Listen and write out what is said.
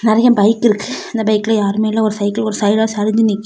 நெறய பைக் இருக்கு அந்த பைக்ல யாருமே இல்ல ஒரு சைக்கிள் ஒரு சைடா சரிஞ்சி நிக்கி.